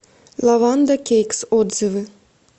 лаванда кейкс отзывы